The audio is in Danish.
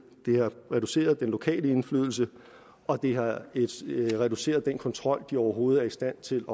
det har reduceret den lokale indflydelse og det har reduceret den kontrol de overhovedet er i stand til